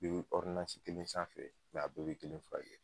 Be kelen sanfɛ a bɛɛ be kelen fura kɛ.